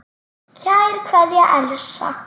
Kær kveðja, Elsa.